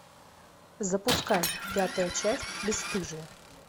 запускай пятая часть бесстыжие